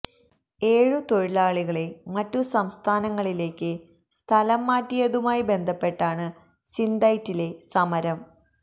ഏഴു തൊഴിലാളികളെ മറ്റു സംസ്ഥാനങ്ങളിലേക്ക് സ്ഥലം മാറ്റിയതുമായി ബന്ധപ്പെട്ടാണ് സിന്തൈറ്റിലെ സമരം